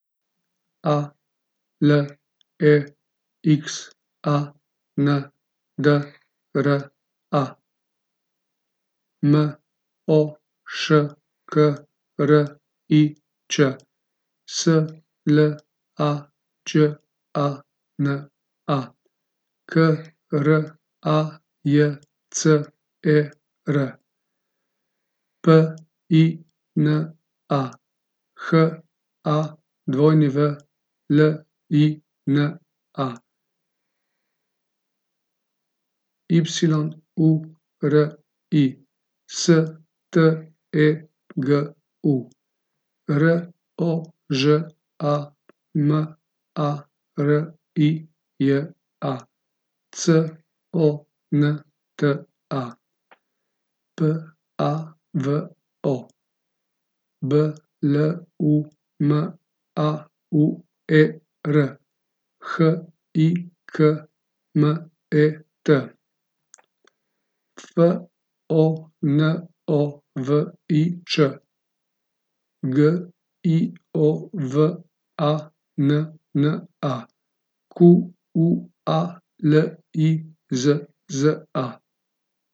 A L E X A N D R A, M O Š K R I Č; S L A Đ A N A, K R A J C E R; P I N A, H A W L I N A; Y U R I, S T E G U; R O Ž A M A R I J A, C O N T A; P A V O, B L U M A U E R; H I K M E T, F O N O V I Ć; G I O V A N N A, Q U A L I Z Z A.